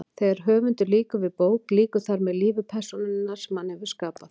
Þegar höfundur lýkur við bók lýkur þar með lífi persónunnar sem hann hefur skapað.